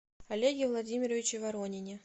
олеге владимировиче воронине